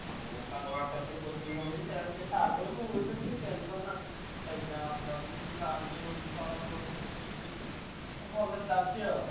ମୁଁ ତାଙ୍କ ପାଖରେ ବି ଯଉ coaching ହଉଛି ସେ ସାର କହିଲେ ମୁଁ ବୁଝି ଦେବି କିଛି tension ନାହି exam ଆସିଲା ବେଳକୁ ସାହାଯ୍ୟ ସାରଙ୍କ ତରଫରୁ ମିଳୁଛି କିଛି ଭଲ ଚାଲିଛି ଆଉ।